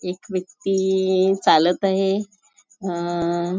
एक व्यक्ती चालत आहे अ --